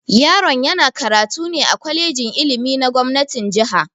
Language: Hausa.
Yaron yana karatu ne a kwalejin ilimi na gomnatin jiha.